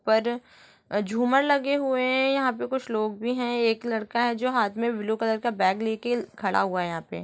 ऊपर झूमर लगे हुए हैं यहाँ पे कुछ लोग भी है एक लडका है जो हाथ मैं ब्लू कलर का बैग लेके खड़ा हुआ है यहाँ पे।